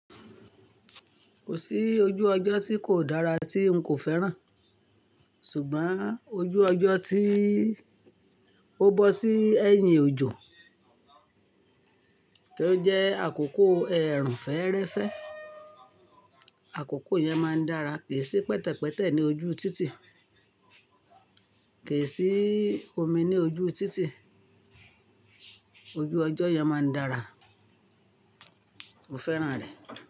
Kò sí ojú ọjọ́ tí kò dára tí n kò fẹ́ràn. Ṣùgbọ́n ojú ọjọ́ tí ó bọ́ sí ẹ̀yìn ojọ́, tí ó jẹ́ àkókò ẹ̀rùn-fẹ́ẹ́rẹ́fẹ́. Àkókò yẹn máa ń dára, kì í sí pẹ̀tẹ̀pẹ̀tẹ̀ ní ojú títì, kì í sí omi ní ojú títì. Ojú ọjọ́ yẹn máa ń dára, mo fẹ́ràn rẹ̀.